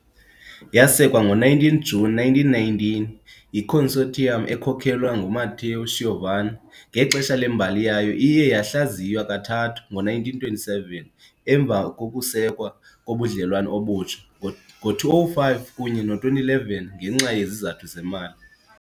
Yasekwa ngo-19 Juni 1919 yi-consortium ekhokelwa nguMatteo Schiavone, ngexesha lembali yayo iye yahlaziywa kathathu- ngo-1927 emva kokusekwa kobudlelwane obutsha, ngo-2005 kunye no-2011 ngenxa yezizathu zemali.